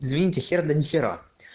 извините хер да не хера